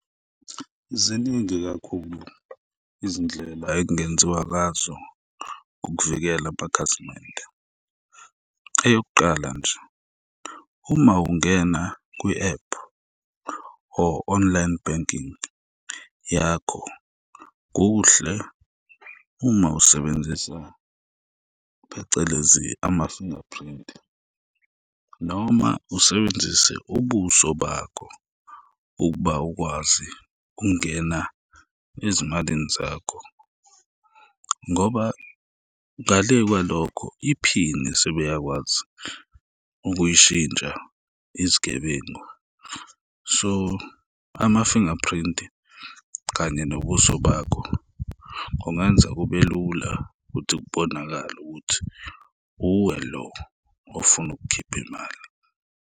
Ziningi kakhulu izindlela ekungenziwa ngazo ukuvikela amakhasimende, eyokuqala nje, uma ungena kwi-app or online banking yakho, kuhle uma usebenzisa phecelezi ama-fingerprint noma usebenzise ubuso bakho ukuba ukwazi ukungena ezimalini zakho ngoba ngale kwalokho, iphini sebeyakwazi ukuyishintsha izigebengu, so ama-fingerprint-i kanye nobuso bakho, kungenza kube lula ukuthi kubonakale ukuthi uwe lo ofuna ukukhipha imali.